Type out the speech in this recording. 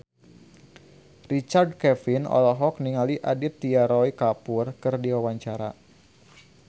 Richard Kevin olohok ningali Aditya Roy Kapoor keur diwawancara